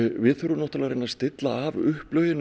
við þurfum náttúrulega að reyna að stilla af upplögin